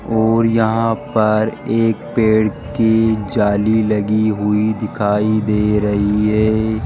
और यहां पर एक पेड़ की जाली लगी हुई दिखाई दे रही है।